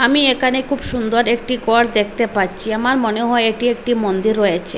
আমি এখানে খুব সুন্দর একটি গর দেখতে পাচ্ছি আমার মনে হয় এটি একটি মন্দির রয়েছে।